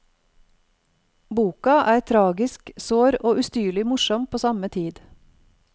Boka er tragisk, sår og ustyrlig morsom på samme tid.